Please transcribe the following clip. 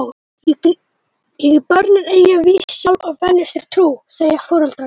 Börnin eiga víst sjálf að velja sér trú, segja foreldrarnir.